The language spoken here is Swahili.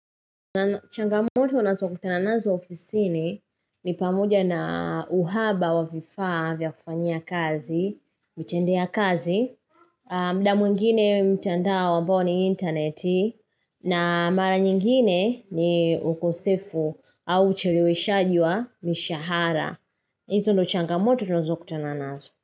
Changamoto nazo kutana nazo ofisini ni pamoja na uhaba wa vifaa vya kufanyia kazi, mchendea kazi, mda mwingine mtandao ambayo ni interneti, na mara nyingine ni ukosefu au ucheleweshaji wa mishahara. Izo ndo changamoto tunazo kutana nazo.